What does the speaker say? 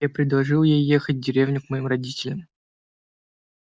я предложил ей ехать в деревню к моим родителям